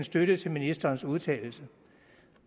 støtte til ministerens udtalelse